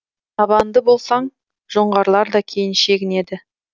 табанды болсаң жоңғарлар да кейін шегінеді